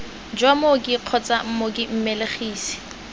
jwa mooki kgotsa mooki mmelegisi